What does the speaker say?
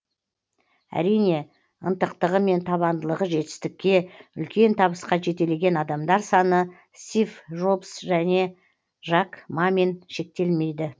әрине ынтықтығы мен табандылығы жетістікке үлкен табысқа жетелеген адамдар саны стив жобс және жак мамен шектелмейді